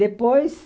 Depois,